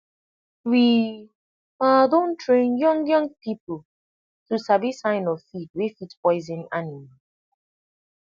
we um don train young young people um to sabi sign of feed wey fit poison animal